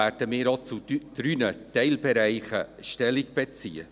Deshalb werden wir auch zu drei Teilbereichen Stellung beziehen.